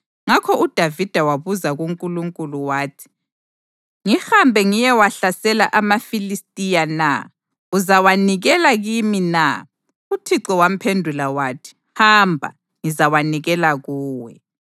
ngakho uDavida wabuza kuNkulunkulu wathi: “Ngihambe ngiyewahlasela amaFilistiya na? Uzawanikela kimi na?” UThixo wamphendula wathi, “Hamba, ngizawanikela kuwe.”